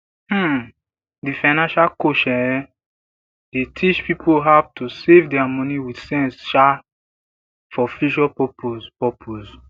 um di financial coach um dey teach pipo how to save dia money with sense um for future purpose purpose